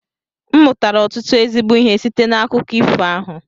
M mụtara ọtụtụ ezigbo ihe site n'akụkọ ifo ahụ